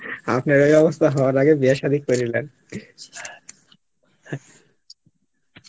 আপনার এই অবস্থা করার আগে বিয়া সাদি করে ল্যান